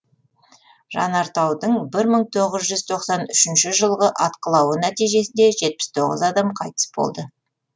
жанартаудың бір мың оғыз жүз тоқсан үшінші жылғы атқылауы нәтижесінде жетпіс тоғыз адам қайтыс болды